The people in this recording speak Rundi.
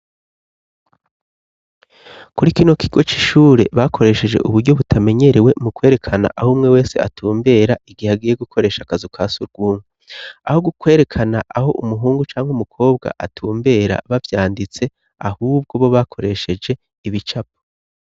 Kuri kino kigo c'ishure bakoresheje uburyo butamenyerewe mu kwerekana aho umwe wese atumbera igihe agiye gukoresha akazu ka surwumwe aho gukwerekana aho umuhungu cangwa umukobwa atumbera babyanditse ahubwo bo bakoresheje ibicapo.